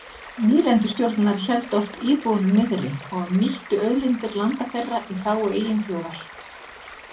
Nýlendustjórnir héldu oft íbúunum niðri og nýttu auðlindir landa þeirra í þágu eigin þjóðar.